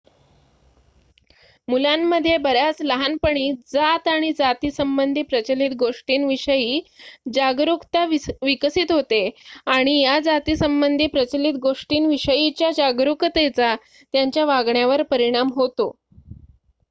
मुलांमध्ये बऱ्याच लहानपणी जात आणि जातीसंबंधी प्रचलित गोष्टींविषयी जागरुकता विकसित होते आणि या जातीसंबंधी प्रचलित गोष्टींविषयीच्या जागरूकतेचा त्यांच्या वागण्यावर परिणाम होतो